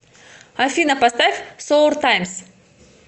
афина поставь соур таймс